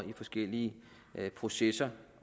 i forskellige processer